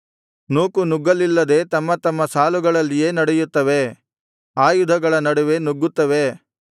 ನೂಕುನುಗ್ಗಲ್ಲಿಲ್ಲದೆ ತಮ್ಮ ತಮ್ಮ ಸಾಲುಗಳಲ್ಲಿಯೇ ನಡೆಯುತ್ತವೆ ಆಯುಧಗಳ ನಡುವೆ ನುಗ್ಗುತ್ತವೆ